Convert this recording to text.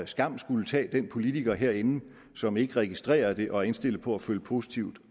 skam skulle tage den politiker herinde som ikke registrerer det og er indstillet på at følge positivt